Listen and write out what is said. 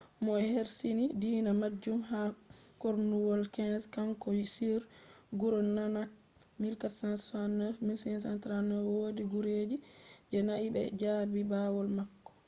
mo ersisini dina majum ha kornuwol 15th kanko on guru nanak1469-1539. wodi guruji je'nai be jabi bawo mako